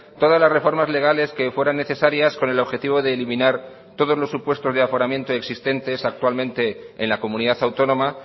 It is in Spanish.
todas las reformas legales que fueran necesarias con el objetivo de eliminar todos los supuestos de aforamiento existentes actualmente en la comunidad autónoma